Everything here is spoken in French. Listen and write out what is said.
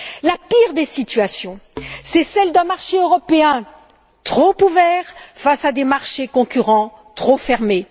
La pire des situations est celle d'un marché européen trop ouvert face à des marchés concurrents trop fermés.